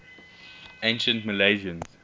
ancient milesians